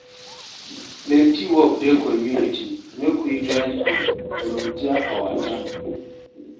Plenty work dey community, make we join hand, volunteer our time.